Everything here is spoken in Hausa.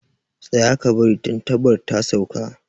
Tsaya, ka bari tantabar ta sauka